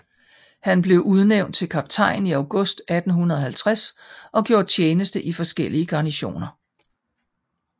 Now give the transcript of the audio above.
Han blev udnævnt til kaptajn i august 1850 og gjorde tjeneste i forskellige garnisoner